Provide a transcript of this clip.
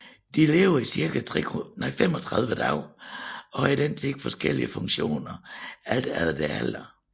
De lever i cirka 35 dage og har i den tid forskellige funktioner alt efter deres alder